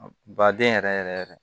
Baden yɛrɛ yɛrɛ